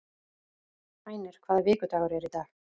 Hænir, hvaða vikudagur er í dag?